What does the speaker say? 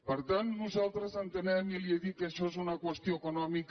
per tant nosaltres entenem i li he dit que això és una qüestió econòmica